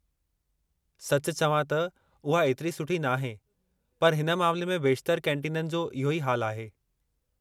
सच चवां त, उहा ऐतिरी सुठी नाहे, पर हिन मामले में बेशितरु कैंटीननि जो इहो ई हाल आहे।